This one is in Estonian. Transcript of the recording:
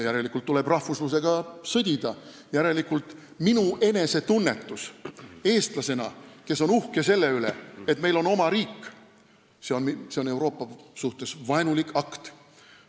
Järelikult tuleb rahvuslusega sõdida ja minu enesetunnetus eestlasena, kes ma olen uhke selle üle, et meil on oma riik, on Euroopa suhtes vaenulik akt.